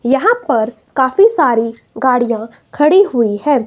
यहां पर काफी सारी गाड़ियां खड़ी हुई हैं।